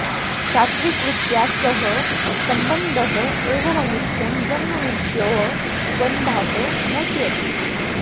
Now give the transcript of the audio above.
सात्त्विकवृत्त्या सह सम्बन्धः एव मनुष्यं जन्ममृत्व्योः बन्धात् मोचयति